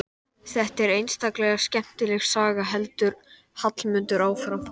Þetta er einstaklega skemmtileg saga, heldur Hallmundur áfram.